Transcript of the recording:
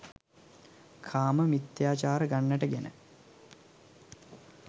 කාම මිථ්‍යාචාර ගණයට ගෙන